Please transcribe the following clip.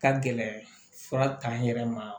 Ka gɛlɛ fura t'an yɛrɛ ma